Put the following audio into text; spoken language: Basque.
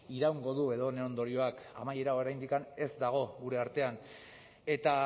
iraungo du edo honen ondorioak amaiera oraindik ez dago gure artean eta